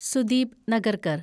Sudeep Nagarkar